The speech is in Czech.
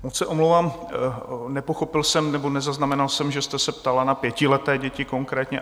Moc se omlouvám, nepochopil jsem nebo nezaznamenal jsem, že jste se ptala na pětileté děti konkrétně.